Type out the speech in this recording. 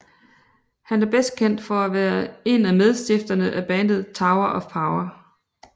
Han er bedst kendt for at være en af medstifterne af bandet Tower of Power